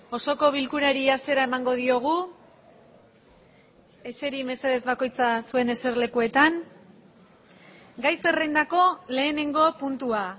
osoko bilkurari hasiera emango diogu eseri mesedez bakoitza zuen eserlekuetan gai zerrendako lehenengo puntua